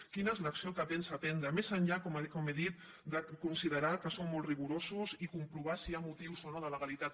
quina és l’acció que pensa prendre més enllà com he dit de considerar que som molt rigorosos i comprovar si hi ha motius o no de legalitat